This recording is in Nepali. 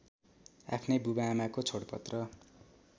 आफ्नै बुवाआमाको छोडपत्र